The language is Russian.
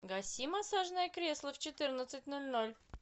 гаси массажное кресло в четырнадцать ноль ноль